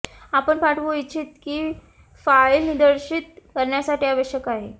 आपण पाठवू इच्छित की फाइल निर्देशीत करण्यासाठी आवश्यक आहे